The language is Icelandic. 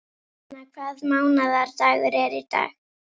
Aríaðna, hvaða mánaðardagur er í dag?